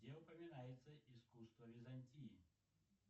где упоминается искусство византии